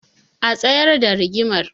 A tsayar da rigimar